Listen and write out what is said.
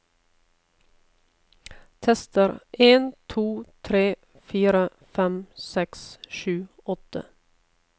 Tester en to tre fire fem seks sju åtte